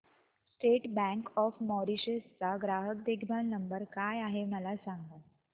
state Bank of Mauritius चा ग्राहक देखभाल नंबर काय आहे मला सांगा